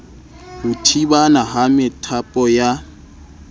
ho thibana ha methapo ya